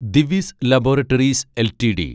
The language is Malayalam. Divi's laboratories LTD